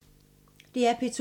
DR P2